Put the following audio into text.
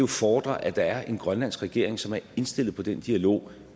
fordre at der er en grønlandsk regering som er indstillet på den dialog